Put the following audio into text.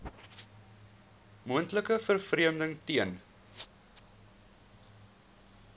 moontlike vervreemding ten